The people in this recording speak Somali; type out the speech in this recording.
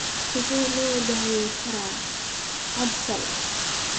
Sidee loo daweyn karaa CADASIL?